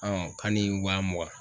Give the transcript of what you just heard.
k'a ni wa mugan